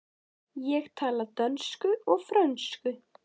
Ég tala dönsku og frönsku.